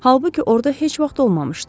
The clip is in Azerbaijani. Halbuki orda heç vaxt olmamışdı.